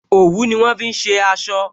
Òwú ni wọn fi ṣe aṣọ